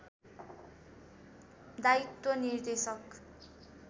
दायित्व निर्देशक